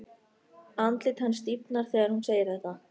Andlit hans stífnar þegar hún segir þetta.